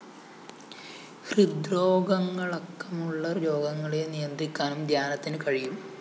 ഹൃദ്രോഗങ്ങളക്കമുള്ള രോഗങ്ങളെ നിയന്ത്രിക്കാനും ധ്യാനത്തിനു കഴിയും